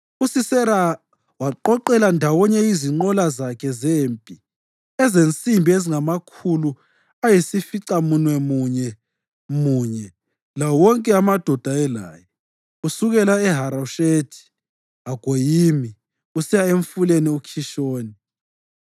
uSisera waqoqela ndawonye izinqola zakhe zempi ezensimbi ezingamakhulu ayisificamunwemunye munye lawo wonke amadoda ayelaye, kusukela eHaroshethi-Hagoyimi kusiya emfuleni uKhishoni.